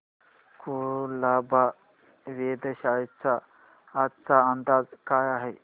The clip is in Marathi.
कुलाबा वेधशाळेचा आजचा अंदाज काय आहे